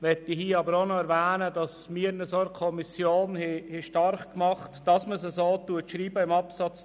Ich möchte an dieser Stelle aber noch erwähnen, dass wir uns in der Kommission dafür stark gemacht haben, dass in Absatz 2 geschrieben steht: